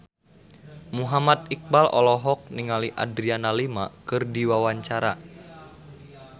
Muhammad Iqbal olohok ningali Adriana Lima keur diwawancara